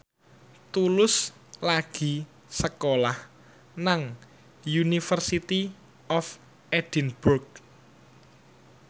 Tulus lagi sekolah nang University of Edinburgh